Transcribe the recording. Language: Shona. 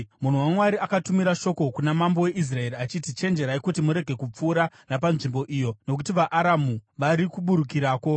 Munhu waMwari akatumira shoko kuna mambo weIsraeri achiti, “Chenjerai kuti murege kupfuura napanzvimbo iyo nokuti vaAramu vari kuburukirako.”